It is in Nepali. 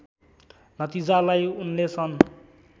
नतिजालाई उनले सन्